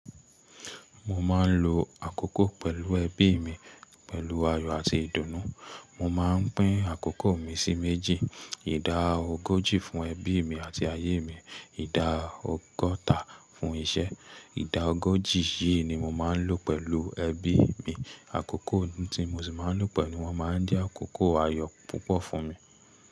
Mo máa ń lo àkókò pẹ̀lú ẹbí mi, pẹ̀lú ayọ̀ àti ìdùnnú. Mo máa ń pín àkókò mi sí méjì. Ìdá ogójì fún ẹbí mi àti ayé mi, ìdá ọgọ́ta fún iṣẹ́. Ìdá ogójì yìí ni mo máa ń lò pẹ̀lú ẹbí mi. Àkókò tí mo sì máa ń lò pẹ̀lú wọn máa ń jẹ́ àkókò ayọ̀ púpọ̀ fún mi.